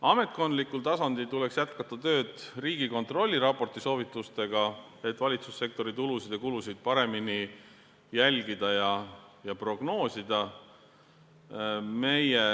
Ametkondlikul tasandil tuleks jätkata tööd Riigikontrolli raporti soovitustega, et valitsussektori tulusid ja kulusid paremini jälgida ja prognoosida.